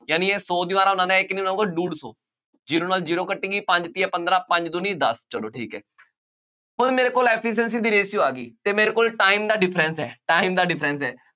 ਯਾਨੀ ਇਹ ਸੌ ਦੀਵਾਰਾਂ ਬਣਾਉਂਦਾ ਹੈ, ਇਹ ਕਿੰਨੀਆਂ ਬਣਾਊਗਾ ਡੂਢ ਸੌ, zero ਨਾਲ zero ਕੱਟੀ ਗਈ, ਪੰਜ ਤੀਆ ਪੰਦਰਾਂ, ਪੰਜ ਦੂਣੀ ਦੱਸ, ਚੱਲੋ ਠੀਕ ਹੈ, ਹੁਣ ਮੇਰੇ ਕੋਲ efficiency ਦੀ ratio ਆ ਗਈ, ਅਤੇ ਮੇਰੇ ਕੋਲ time ਦਾ difference ਹੈ, time ਦਾ difference ਹੈ